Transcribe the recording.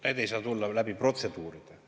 Need ei saa tulla läbi protseduuride.